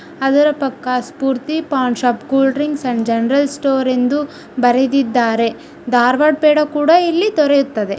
ಅದರ ಪಕ್ಕ Spoorthi paan shop cool drinks and general store ಎಂದು ಬರೆದಿದ್ದಾರೆ ಧಾರವಾಡ ಪೇಡ ಕೂಡ ಇಲ್ಲಿ ದೊರೆಯುತ್ತದೆ.